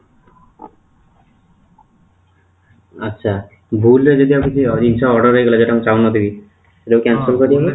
ଆଛା ଭୁଲରେ ଯଦି ଜିନିଷ order ହେଇଗଲା ଯୋଉଟା ମୁଁ ଚାହୁଁନଥିବି ସେଇଟା cancel କରିବି ନା